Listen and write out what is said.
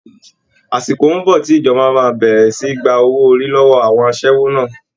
Àsìkò ń bọ̀ tí ìjọba máa bẹ̀rẹ̀ sì ní gba owó orí lọ́wọ́ àwọn aṣẹ́wó náà